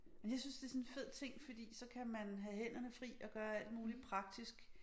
Men jeg synes det sådan en fed ting fordi så kan man have hænderne fri og gøre alt muligt praktisk